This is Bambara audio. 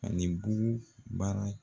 Ka nin buru baara y